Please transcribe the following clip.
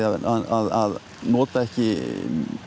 að nota ekki